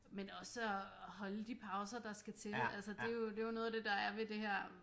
Men også at holde de pauser der skal til altså det er jo det er jo noget af det der er ved det her